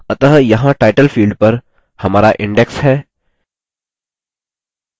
अतः यहाँ title field पर हमारा index है